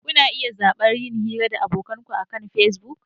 Kuna iya zaɓar yin hira da abokan ku akan Facebook.